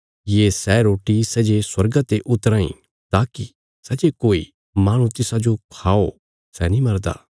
ये सै रोटी सै जे स्वर्गा ते उतराँ इ ताकि सै जे कोई माहणु तिसाजो खाओ सै नीं मरदा